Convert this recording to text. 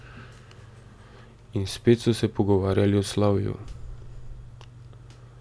In spet so se pogovarjali o slavju.